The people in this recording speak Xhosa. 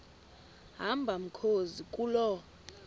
hamba mkhozi kuloo